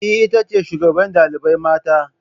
Eh, ita ce shugaban ɗalibai mata